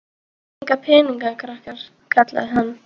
Eigið þið enga peninga krakkar? kallaði hann.